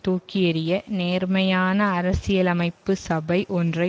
தூக்கியெறிய நேர்மையான அரசியலமைப்பு சபை ஒன்றை